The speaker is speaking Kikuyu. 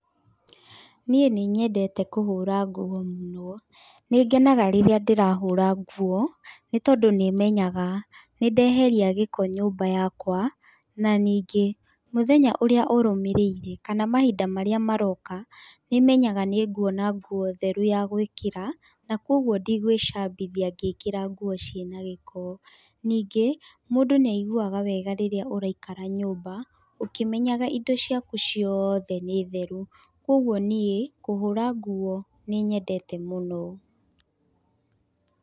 Niĩ nĩ nyendete kũhũra nguo mũno, nĩngenaga rĩrĩa ndĩrahũra nguo nĩ tondũ nĩ menyaga nĩ ndeheria gĩko nyũmba yakwa na ningĩ, mũthenya ũrĩa ũrũmĩrĩirĩ kana mahinda marĩa maroka nĩ menyaga nĩ nguona nguo theru yagwĩkĩra na koguo ndigwĩcambia gĩkĩra nguo ciĩ na gĩko. Ningĩ, mũndũ nĩ aiguaga wega rĩrĩa ũraikara nyũmba ũkĩmenyaga indo ciaku ciothe nĩ theru, koguo niĩ kũhũra nguo nĩ nyendete mũno.